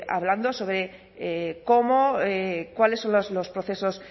hablando sobre cómo cuáles son los procesos